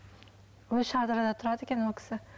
өзі шардарада тұрады екен ол кісі